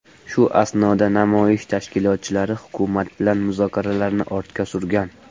Shu asnoda namoyish tashkilotchilari hukumat bilan muzokaralarni ortga surgan.